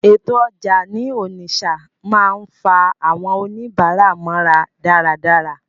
Ètò ọjà ní Onitsha máa ń fa àwọn oníbàárà mọ́ra dáradára.